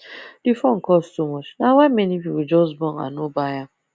the phone cost too much na why many people just bone and no buy am